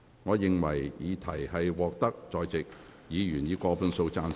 我認為議題獲得在席議員以過半數贊成。